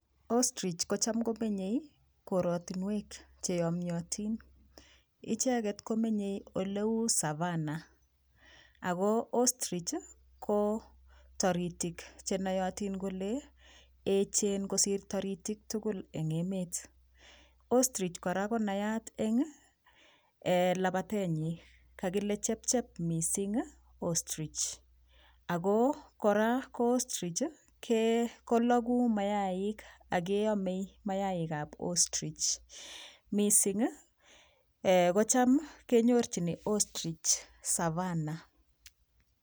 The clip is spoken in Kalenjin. Ostrich kocham komenyei korotinwek cheyomyotin icheget komenyei olauu savannah ako Ostrich ko toritik chenoyotin kole echen kosir toritik tukul eng emet ostrich kora konayat eng labatet nyi kakile chepchep mising ostrich oko kora ostrich koloku mayaik akeomei mayaik ab ostrich mising kocham kenyorchini ostrich savana